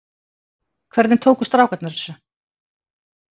Hvernig tóku strákarnir þessu?